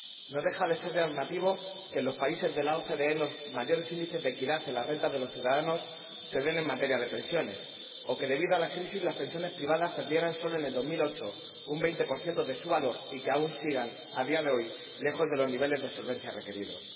No deja de ser llamativo que, en los países de la OCDE, los mayores índices de equidad en las rentas de los ciudadanos se den en materia de pensiones, o que, debido a la crisis, las pensiones privadas perdieran, sólo en 2008, un 20 de su valor y que aún sigan, a día de hoy, lejos de los niveles de solvencia requeridos.